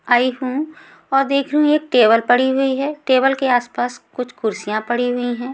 आई हु और देख रही हु एक टेबल पड़ी हुई है टेबल के आस पास कुछ कुर्सियाँ पड़ी हुई हैं।